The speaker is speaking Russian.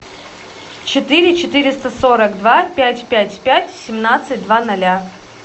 четыре четыреста сорок два пять пять пять семнадцать два ноля